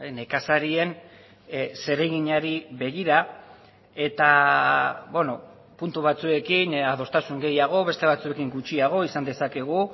nekazarien zereginari begira eta puntu batzuekin adostasun gehiago beste batzuekin gutxiago izan dezakegu